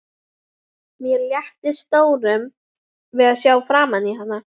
Mér létti stórum við að sjá framan í hana.